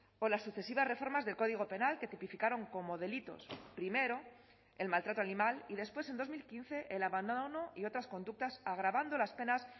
o las sucesivas reformas del código penal que tipificaron como delitos primero el maltrato animal y después en dos mil quince el abandono y otras conductas agravando las penas